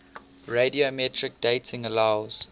radiometric dating allows